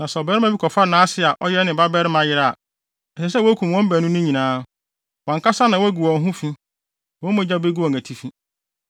“ ‘Na sɛ ɔbarima bi kɔfa nʼase a ɔyɛ ne babarima yere a, ɛsɛ sɛ wokum wɔn baanu no nyinaa; wɔn ankasa na wɔagu wɔn ho wɔn ho fi; wɔn mogya begu wɔn atifi.